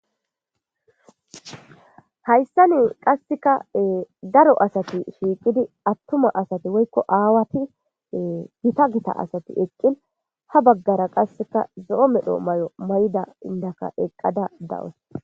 hayssa nin qasseka daro asati shiiqidi attuma asati woykko aawati gita gita asati eqqin ha baggara qasseka zo7o medho may7o may7da indaka eqqada dawus